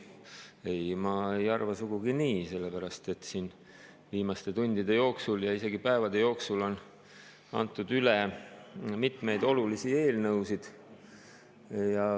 Ei, ma ei arva sugugi nii, sellepärast et siin viimaste tundide ja isegi päevade jooksul on antud üle mitmeid olulisi eelnõusid.